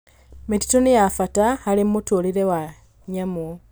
Mĩtitũ nĩ ya bata harĩ mĩtũũrĩre ya nyamũ.